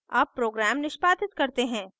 अब program निष्पादित करते हैं